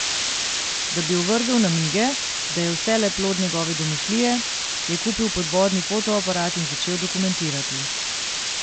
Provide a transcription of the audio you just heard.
Da bi ovrgel namige, da je vse le plod njegove domišljije, je kupil podvodni fotoaparat in začel dokumentirati.